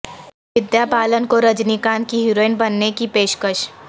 ودیا بالن کو رجنی کانت کی ہیروئن بننے کی پیشکش